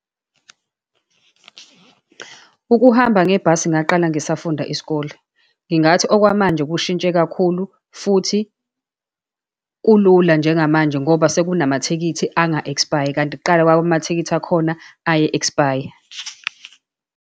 Ukuhamba ngebhasi ngaqala ngisafunda isikole. Ngingathi okwamanje kushintshe kakhulu, futhi kulula njengamanje ngoba sekunamathikithi anga-ek'spayi. Kanti kuqala kwaba amathikithi akhona aye-expire.